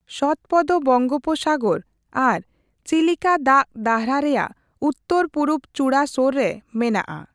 ᱥᱚᱛᱚᱯᱚᱫ ᱵᱚᱝᱜᱳᱯᱥᱟᱜᱚᱨ ᱟᱨ ᱪᱤᱞᱤᱠᱟ ᱫᱟᱠᱼᱫᱟᱨᱦᱟ ᱨᱮᱭᱟᱜ ᱩᱛᱛᱟᱹᱨᱼᱯᱩᱨᱩᱵ ᱪᱩᱲᱟᱹ ᱥᱳᱨ ᱨᱮ ᱢᱮᱱᱟᱜᱼᱟ ᱾